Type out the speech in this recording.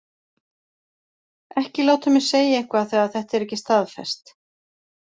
Ekki láta mig segja eitthvað þegar þetta er ekki staðfest.